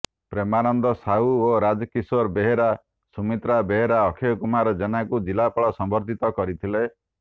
ପ୍ରେମାନନ୍ଦ ସାହୁ ଓ ରାଜ କିଶୋର ବେହେରା ସୁମିତ୍ରା ବେହେରା ଅକ୍ଷୟ କୁମାର ଜେନାଙ୍କୁ ଜିଲ୍ଲାପାଳ ସମ୍ବର୍ଦ୍ଧିତ କରିଥିଲେ